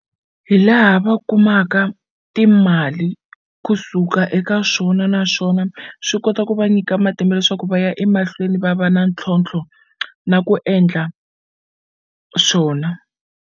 Hi laha va kumaka timali kusuka eka swona naswona swi kota ku va nyika matimba leswaku va ya emahlweni va va na ntlhontlho na ku endla swona.